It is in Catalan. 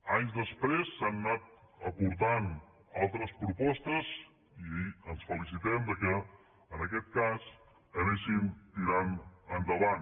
anys després s’han anat aportant altres propostes i ens felicitem que en aquest cas anessin tirant endavant